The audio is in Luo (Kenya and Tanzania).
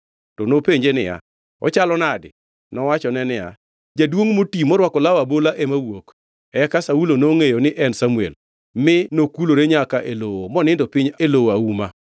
To nopenje niya, “Ochalo nadi?” Nowachone niya, “Jaduongʼ moti morwako law abola ema wuok.” Eka Saulo nongʼeyo ni en Samuel, mi nokulore nyaka e lowo monindo piny e lowo auma.